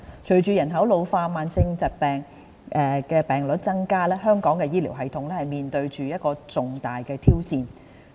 隨着人口老化、慢性疾病患病率增加，香港的醫療系統面對着重大的挑戰。